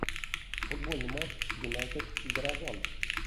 футбольный матч юнайтед и горожан